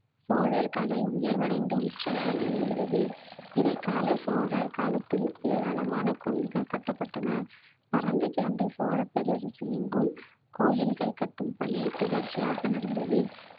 சோழர் கலை உயர்வடைந்து உச்ச நிலையில் இருந்தது இடைக்கால சோழர் காலத்தில் ஏராளமான கோவில்கள் கட்டப்பட்டன பரந்து கெடந்த சோழப் பேரரசு எங்கும் கோயில்கள் கட்டும் பணி தொடர்ச்சியாக நடந்தது